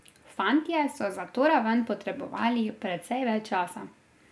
Fantje so za to raven potrebovali precej več časa.